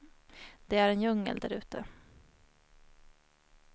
Det är en djungel där ute.